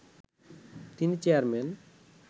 তিনি চেয়ারম্যান